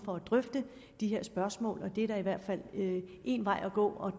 for at drøfte de her spørgsmål og det er da i hvert fald en vej at gå